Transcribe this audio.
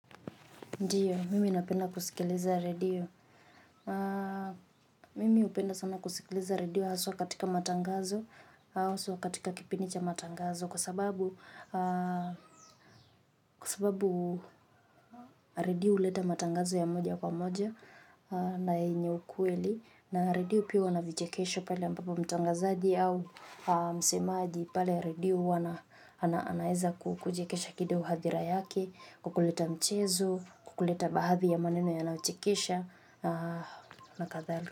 Ndiyo, mimi napenda kusikiliza redio. Mimi hupenda sana kusikiliza redio haswa katika matangazo, haswa katika kipindi cha matangazo kwa sababu, kwa sababu redio huleta matangazo ya moja kwa moja na yenye ukweli, na redio pia huwa na vichekesho pale ambapo mtangazaji au msemaaji pale redio huwa anaeza kuchekesha kido hadhira yake, kwa kuleta mchezo, kwa kuleta bahadhi ya maneno ya nayo chekesha na na kathal.